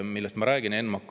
Millest ma räägin?